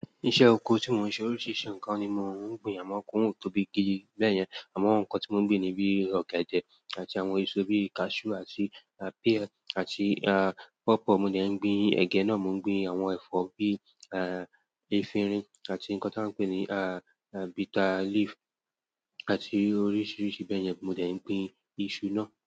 Iṣẹ́ oko tí mò ń ṣe oríṣiríṣi nǹkan ni mò ń gbin. Àwọn ọkọ̀ wọ́n ò tóbi gidi bẹ́yẹn. Àwọn nǹkan tí mò ń gbin ni bí i ọ̀gẹ̀dẹ̀ àti àwọn èso bí i cashew àti, àti, ah, pear àti, ah, pawpaw. Mo dẹ̀ ń gbin ẹ̀gẹ́ náà. Mo ń gbin àwọn ẹ̀fọ́ bí, ah, efirin àti nǹkan tí wọ́n ń pè ní, ah, ah, bitterleaf àti oríṣiríṣi bẹ́yẹn. Mo dẹ̀ ń gbin iṣu náà.